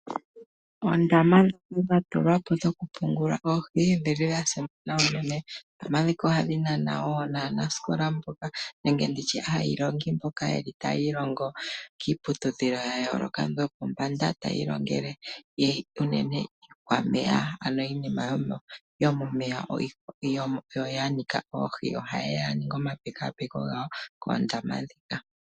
Oondama dha tulwa po dhokupungula oohi odhili dha simana unene. Oondama ndhika oha dhi nana woo naanasikola nenge ndi tye aayilongi mboka ta yiilongo kiiputudhilo ya yooloka, yo pombanda tayi ilongele unene iikwameya ano iinima yomomeya yo yanika oohi, oha yeya ya ninge omapekapeko ngawo koondama ndhika.